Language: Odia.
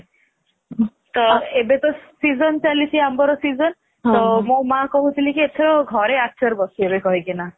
ତ ଏବେ ତ season ଚାଲିଛି ଆମ୍ବର season ତ ମୋ ମାଆ କହୁଥିଲେ ଘରେ ଏଥର ଆଚାର ବସେଇବେ କହିକିନା